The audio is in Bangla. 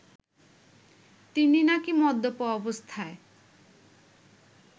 তিনি নাকি মদ্যপ অবস্থায়